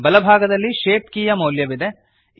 ಬಲಭಾಗದಲ್ಲಿ ಶೇಪ್ ಕೀಯ ಮೌಲ್ಯವಿದೆ